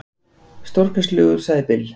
Stórkostlegur, sagði Bill.